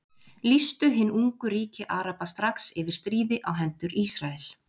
Lýstu hin ungu ríki Araba strax yfir stríði á hendur Ísrael.